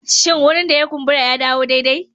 Shin wurin da ya kumbura ya dawo daidai?